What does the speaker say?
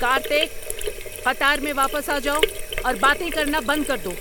کارتک! قطار میں واپس آ جاؤ اور باتیں کرنا بند کر دو۔